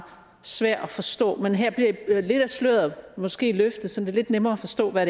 svær at forstå men her bliver lidt af sløret måske løftet så det er lidt nemmere at forstå hvad